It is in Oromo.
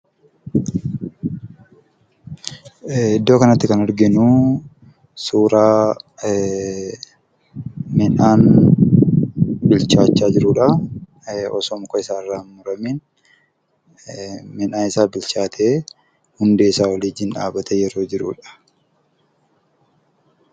Iddoo kanatti kan arginu suura midhaan bilchaata jirudha. midhaan isaa bilchaate hundee isaa wajjin dhaabamee jirudha.